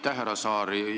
Aitäh, härra Saar!